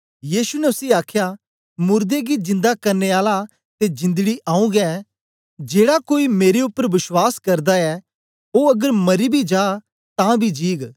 यीशु ने उसी आखया मुर्दे गी जिंदा करने आला ते जिंदड़ी आऊँ गें जेड़ा कोई मेरे उपर बश्वास करदा ऐ ओ अगर मरी बी जा तां बी जीग